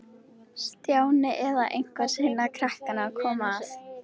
Stjáni eða eitthvert hinna krakkanna kom að.